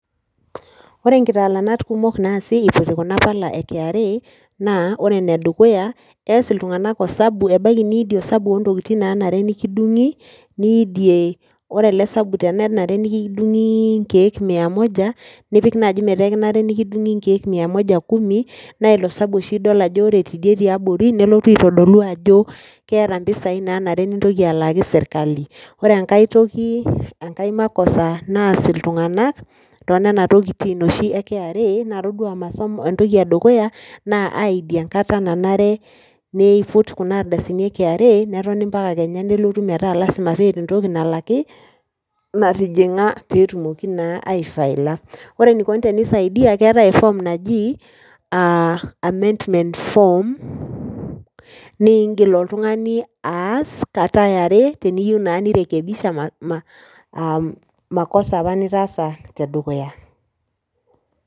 Ore nkitalaanat kumok naasi eiputi kuna pala e kra naa ore ene dukuya naa eas iltunganak osabu ,ebaiki niidie osabu lontokitin nanare nikidunguni niidie, ore ele sabu tenenare nikidungi inkiek mia moja , nipik nai metaa ekinare nikidungi nkiek mia moja kumi naa ilo sabu oshi idol ajo ore tidie tiabori nelotu ajo keeta impisai nanare nintoki alaaki sirkali. Ore enkae toki, enkae makosa naas iltunganak toonena tokitin oshi ekra naa todua masomo entoki edukuya naa aidie enkata nanare niiput kuna ardasini erkra netoni mpaka lasima peeta entoki nalaki , natijinga peetumoki naa aifaila. Ore enikoni tenisaidia na keetae eform naji ammendment form ningil oltungani aas kata eare , niyieu naa nirekibisha am makosa apa nitaasa tedukuya.